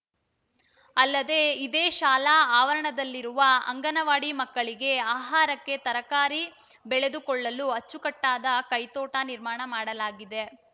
ಅಲ್ಲದೆ ಇದೇ ಶಾಲಾ ಆವರಣದಲ್ಲಿರುವ ಅಂಗನವಾಡಿ ಮಕ್ಕಳಿಗೆ ಆಹಾರಕ್ಕೆ ತರಕಾರಿ ಬೆಳೆದುಕೊಳ್ಳಲು ಅಚ್ಚುಕಟ್ಟಾದ ಕೈ ತೋಟ ನಿರ್ಮಾಣ ಮಾಡಲಾಗಿದೆ